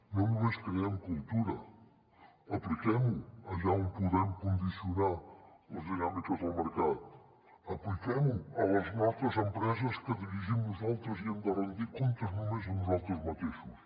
no només creem cultura apliquem ho allà on podem condicionar les dinàmiques del mercat apliquem ho a les nostres empreses que dirigim nosaltres i hem de rendir comptes només a nosaltres mateixos